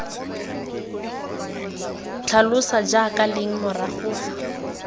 tlhalosa jaaka leng morago fa